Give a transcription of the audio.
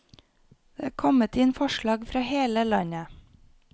Det er kommet inn forslag fra hele landet.